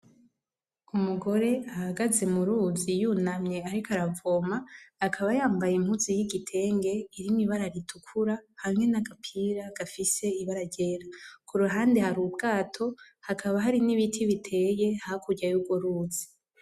Umugore ahagaze muruzi yunamye ariko aravoma akaba yambaye impuzu y'igitenge irimwo ibara ritukura hamwe n'agapira gafise ibara ryera, kuruhande har'ubwato hakaba hari n'ibiti biteye hakurya y'urworuzi.